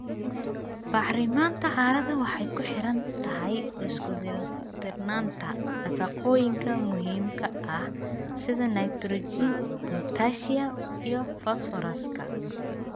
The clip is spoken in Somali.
Bacriminta carrada waxay ku xiran tahay isku dheelitirnaanta nafaqooyinka muhiimka ah sida nitrogen, potassium iyo fosfooraska.